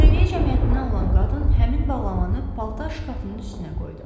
Xeyriyyə cəmiyyətindən olan qadın həmin bağlamanı paltar şkafının üstünə qoydu.